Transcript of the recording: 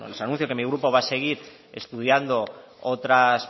les anuncio que mi grupo va a seguir estudiando otras